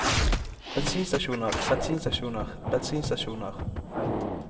bensinstasjoner bensinstasjoner bensinstasjoner